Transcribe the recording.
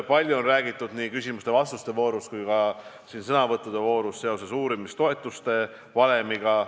Palju on räägitud nii küsimuste-vastuste voorus kui ka siin sõnavõttude voorus uurimistoetuste valemist.